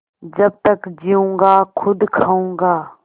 जब तक जीऊँगा खुद खाऊँगा